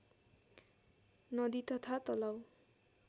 नदी तथा तलाउ